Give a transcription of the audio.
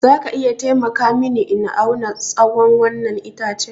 Za ka iya taimaka mini in auna tsawon wannan itacen?